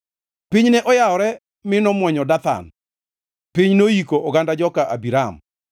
Piny ne oyawore mi nomwonyo Dathan; piny noiko oganda joka Abiram.